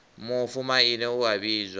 mufu maine u a vhidzwa